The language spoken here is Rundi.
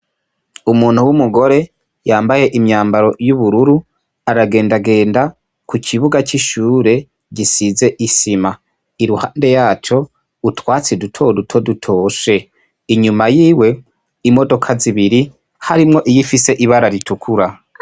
Umuntu w' umugore yambaye imyambaro y’ubururu aragenda genda ku kibuga c' ishure gisize isima, iruhande yaco utwatsi duto duto dutoshe inyuma yiwe imodoka zibiri harimwo iyifise ibara ritukura.